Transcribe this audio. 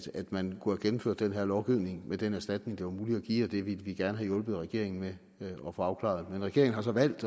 man kunne have gennemført den her lovgivning med den erstatning det var muligt at give og det ville vi gerne have hjulpet regeringen med at få afklaret men regeringen har så valgt